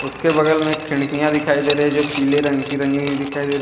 उसके बगल में एक खिड़कियां दिखाई दे रही है जो पीले रंग की रंगी हुई दिखाई दे--